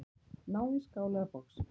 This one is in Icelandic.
Náðu í skál eða box.